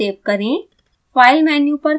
इस file को save करें